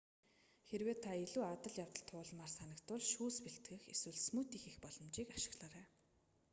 хэрэв та илүү адал явдал туулмаар санагдвал шүүс бэлтгэх эсвэл смүүти хийх боломжийг ашиглаарай